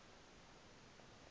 eyerusalem